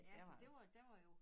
Ja så det var der var jo